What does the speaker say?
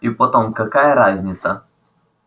и потом какая разница